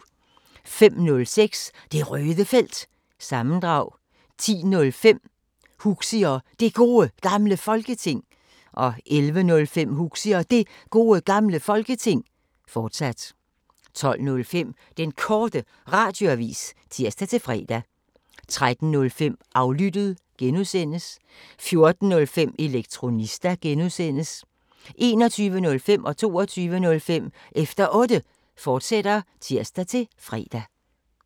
05:05: Det Røde Felt – sammendrag 10:05: Huxi og Det Gode Gamle Folketing 11:05: Huxi og Det Gode Gamle Folketing, fortsat 12:05: Den Korte Radioavis (tir-fre) 13:05: Aflyttet (G) 14:05: Elektronista (G) 21:05: Efter Otte, fortsat (tir-fre) 22:05: Efter Otte, fortsat (tir-fre)